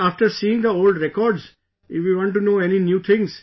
Then after seeing the old records, if we want to know any new things